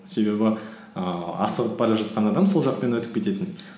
себебі ііі асығып бара жатқан адам сол жақпен өтіп кететін